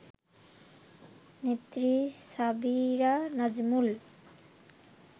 নেত্রী সাবিরা নাজমুল